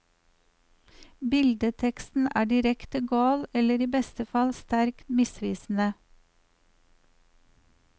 Billedteksten er direkte gal eller i beste fall sterkt misvisende.